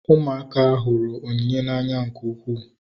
Ụmụaka hụrụ ihe onyinye n'anya nke ukwuu